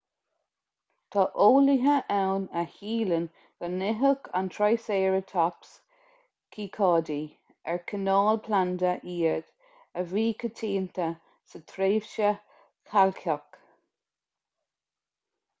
tá eolaithe ann a shíleann go n-itheadh an triceratops cíocáidí ar cineál planda iad a bhí coitianta sa tréimhse chailceach